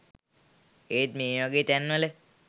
ඒත් මේවගෙ තැන්වල